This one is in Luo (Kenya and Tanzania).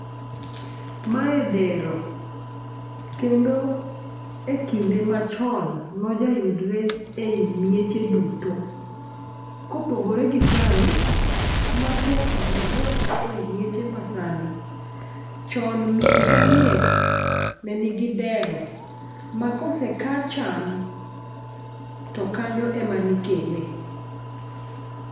Mae dero kendo e kinde machon noja yudre e i mieche duto. Kopogore gi sani ma tek mondi nwang' e mieche ma sani, chon mier ka mier ne nigi dero ma koseka cham, to kanyo ema nikene.